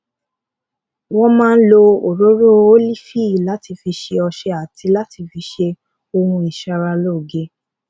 wón máa lo òróró ólífì láti fi ṣe ọṣẹ àti láti fi ṣe ohun ìṣaralóge